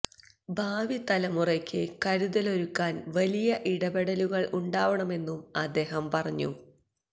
ഭാവി തലമുറയ്ക്ക് കരുതലൊരുക്കാൻ വലിയ ഇടപെടലുകൾ ഉണ്ടാവണമെന്നും അദ്ദേഹം പറഞ്ഞു